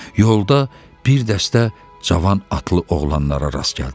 Yolda bir dəstə cavan atlı oğlanlara rast gəldilər.